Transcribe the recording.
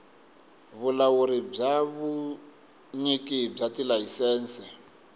vulawuri bya vunyiki bya tilayisense